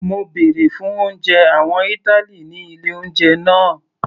Mo bèrè fún oúnjẹ àwọn ìtàlí ní ilé oúnjẹ náà.